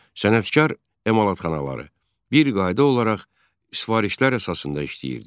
Sənətkar emalatxanaları bir qayda olaraq sifarişlər əsasında işləyirdi.